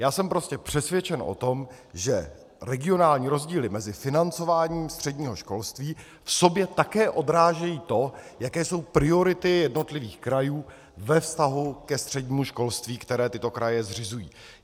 Já jsem prostě přesvědčen o tom, že regionální rozdíly mezi financováním středního školství v sobě také odrážejí to, jaké jsou priority jednotlivých krajů ve vztahu ke střednímu školství, které tyto kraje zřizují.